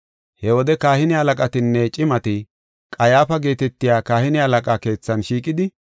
He wode kahine halaqatinne cimati, Qayyaafa geetetiya kahine halaqaa keethan shiiqidi,